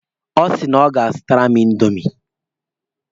Ọ sị na ọ ga-azụtara m indomi.